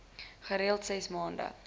gereeld ses maand